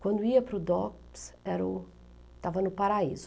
Quando ia para o DOPS, era o... estava no paraíso.